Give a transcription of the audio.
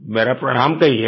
मेरा प्रणाम कहियेगा